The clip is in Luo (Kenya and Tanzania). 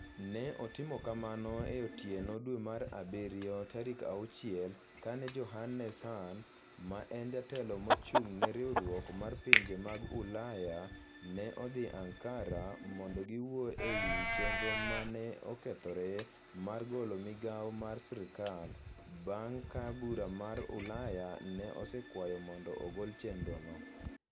Ne otim kamano e otieno dwe mar abirio 6 kane Johannes Hahn, ma en Jatelo mochung' ne riwruok mar pinje mag Ulaya, ne odhi Ankara mondo giwuo e wi chenro ma ne okethore mar golo migawo mar sirkal, bang' ka Bura mar Ulaya ne osekwayo mondo ogol chenrono.